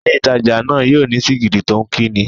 Ilé ìtajà náà yóò ní sìgìdì tó ń kí ni.